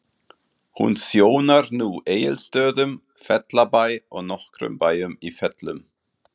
Hún þjónar nú Egilsstöðum, Fellabæ og nokkrum bæjum í Fellum.